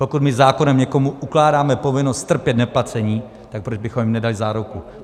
Pokud my zákonem někomu ukládáme povinnost strpět neplacení, tak proč bychom jim nedali záruku?